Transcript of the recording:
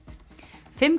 fimm